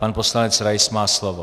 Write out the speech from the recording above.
Pan poslanec Rais má slovo.